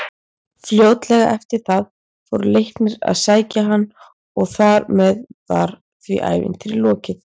Fljótlega eftir það fór Leiknir að sækja hann og þar með var því ævintýri lokið.